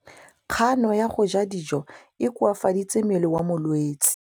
Kganô ya go ja dijo e koafaditse mmele wa molwetse.